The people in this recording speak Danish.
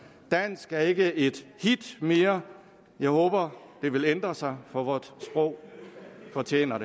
dansk er ikke et hit mere jeg håber det vil ændre sig for vort sprog fortjener